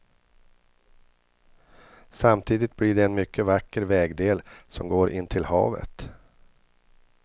Samtidigt blir det en mycket vacker vägdel som går intill havet.